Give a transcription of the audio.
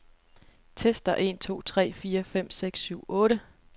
Tester en to tre fire fem seks syv otte.